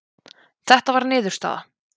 Þetta var niðurstaða